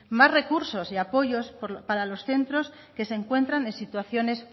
más recursos y apoyos para los centros que se encuentran en situaciones